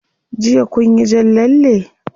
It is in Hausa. Jiya kunyi jan lalle?